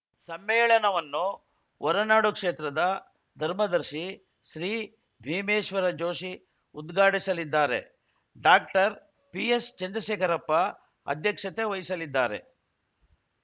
ಸಮ್ಮೇಳನವನ್ನು ಹೊರನಾಡು ಕ್ಷೇತ್ರದ ಧರ್ಮದರ್ಶಿ ಶ್ರೀ ಭೀಮೇಶ್ವರ ಜೋಶಿ ಉದ್ಘಾಟಿಸಲಿದ್ದಾರೆ ಡಾಕ್ಟರ್ ಪಿಎಸ್‌ ಚಂದ್ರಶೇಖರಪ್ಪ ಅಧ್ಯಕ್ಷತೆ ವಹಿಸಲಿದ್ದಾರೆ